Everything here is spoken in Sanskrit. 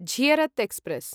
झियरत् एक्स्प्रेस्